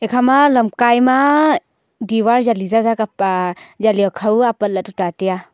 ikha lam kai ma diwar jaji zaza kapa jaji hukhaw apat la tai a.